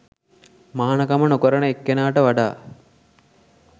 මහණකම නොකරන එක්කෙනාට වඩා